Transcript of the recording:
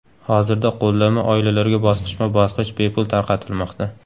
Hozirda qo‘llanma oilalarga bosqichma-bosqich bepul tarqatilmoqda.